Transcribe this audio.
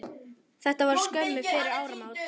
Þetta var skömmu fyrir áramót.